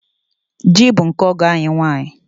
Ji bụ nke ọgọ anyị nwanyị.